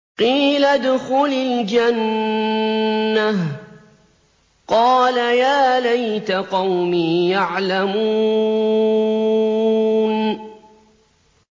قِيلَ ادْخُلِ الْجَنَّةَ ۖ قَالَ يَا لَيْتَ قَوْمِي يَعْلَمُونَ